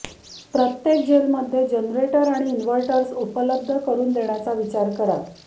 प्रत्येक जेलमध्ये जनरेटर्स आणि इन्व्हर्टर्सही उपलब्ध करून देण्याचा विचार करा